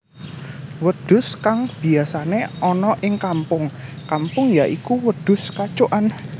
Wedhus kang biyasané ana ing kampung kampung ya iku wedhus kacukan